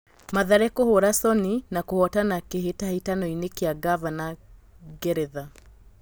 Mathare kũhũra Soni na kũhotana kĩ hĩ tahĩ tanoinĩ kĩ a ngaavana Ngeretha.